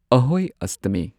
ꯑꯍꯣꯢ ꯑꯁꯇꯃꯤ